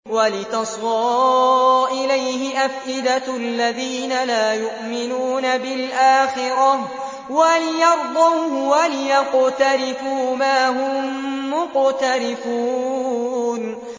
وَلِتَصْغَىٰ إِلَيْهِ أَفْئِدَةُ الَّذِينَ لَا يُؤْمِنُونَ بِالْآخِرَةِ وَلِيَرْضَوْهُ وَلِيَقْتَرِفُوا مَا هُم مُّقْتَرِفُونَ